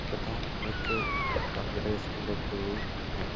तथा एक computer screen रखी हुई है।